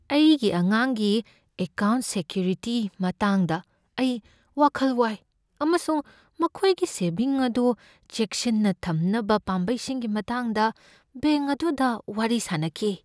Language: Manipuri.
ꯑꯩꯒꯤ ꯑꯉꯥꯡꯒꯤ ꯑꯦꯀꯥꯎꯟꯠ ꯁꯦꯀ꯭ꯌꯨꯔꯤꯇꯤ ꯃꯇꯥꯡꯗ ꯑꯩ ꯋꯥꯈꯜ ꯋꯥꯏ ꯑꯃꯁꯨꯡ ꯃꯈꯣꯏꯒꯤ ꯁꯦꯚꯤꯡ ꯑꯗꯨ ꯆꯦꯛꯁꯤꯟꯅ ꯊꯝꯅꯕ ꯄꯥꯝꯕꯩꯁꯤꯡꯒꯤ ꯃꯇꯥꯡꯗ ꯕꯦꯡꯛ ꯑꯗꯨꯗ ꯋꯥꯔꯤ ꯁꯥꯅꯈꯤ ꯫